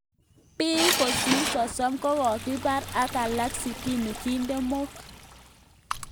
pik kosir 30 kokokipar ak alak sitini kiden mook